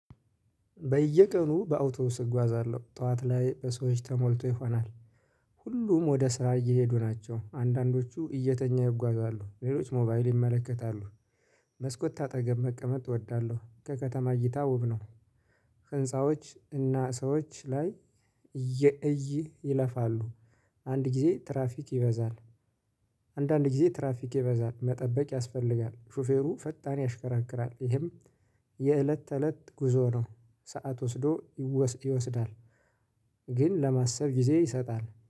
በየቀኑ በአውቶብስ እጓዛለሁ ጠዋት ላይ በሰዎች ተሞልቶ ይሆናል። ሁሉም ወደ ስራ እየሄዱ ናቸው አንዳንዶቹ እየተኛ ይጓዛሉ ሌሎች ሞባይል ይመለከታሉ። መስኮት አጠገብ መቀመጥ እወዳለሁ ከከተማ እይታ ውብ ነው። ህንፃዎች እና ሰዎች ላይ የእይ ይለፋሉ። አንድ ጊዜ ትራፊክ ይበዛል። አንዳንድ ጊዜ ትራፊክ ይበዛል መጠበቅ ያስፈልጋል። ሹፌሩ ፈጣን ያሽከራክራል ይህም የእለት ተእለት ጉዞ ነው። ሰዓት ወስዶ ይወስዳል። ግን ለማሰብ ጊዜ ይሰጣል